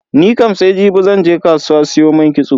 Nikam sai jibi zan je kasuwa siyo man kitso.